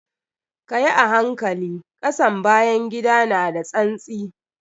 Kayi a hankali, ƙasan bayan gida na da tsantsi.